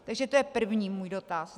Takže to je první můj dotaz.